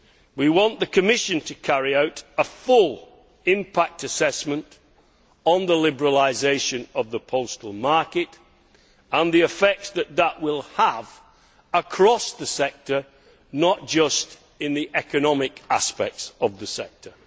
We want the Commission to carry out a full impact assessment on the liberalisation of the postal market and on the effects that it will have across the sector, and not just in terms of the economic aspects of that sector.